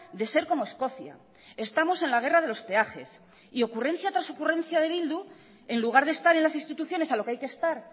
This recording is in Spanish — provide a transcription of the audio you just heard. de ser como escocia estamos en la guerra de los peajes y ocurrencia tras ocurrencia de bildu en lugar de estar en las instituciones a lo que hay que estar